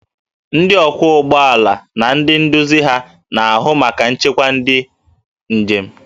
Ndị ọkwọ ụgbọ ala na ndị nduzi ha na-ahụ maka nchekwa nke ndị njem